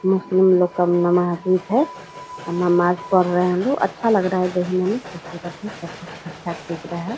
मुस्लिम लोग का नमाज ईद है। नमाज पढ़ रहे है लोग अच्छा लग रहा है देखने मे ठीक-ठाक दिख रहा है |